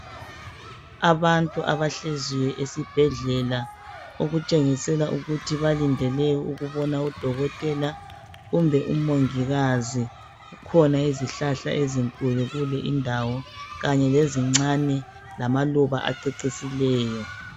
Abantu abahleziyo esibhedlela okutsengisela ukuthi balindele ukubona udokotela kumbe umongikazi kukhona izihlahla ezinkulu kanye lezincane lamaluba acecisileyo.